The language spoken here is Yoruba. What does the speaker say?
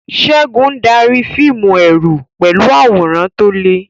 Segun darí fíìmù ẹ̀rù pẹ̀lú àwòrán tó le.